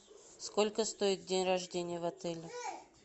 сколько стоит день рождения в отеле